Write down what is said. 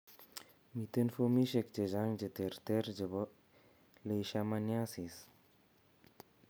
Miten fomisiek chechang' cheterter chebo leishmaniasis